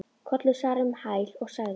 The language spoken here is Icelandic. Kollur svaraði um hæl og sagði